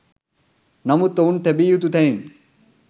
නමුත් ඔවුන් තැබිය යුතු තැනින්